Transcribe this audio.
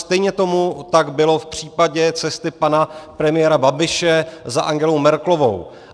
Stejně tomu tak bylo v případě cesty pana premiéra Babiše za Angelou Merkelovou.